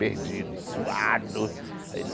Perdido, e suado.